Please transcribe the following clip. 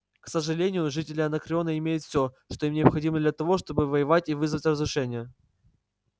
к сожалению жители анакреона имеют все что им необходимо для того чтобы воевать и вызывать разрушения